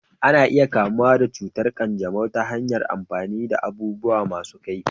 Ana iya kamuwa da cutar ƙanjamau ta hanyar amfani da abubuwa masu kaifi.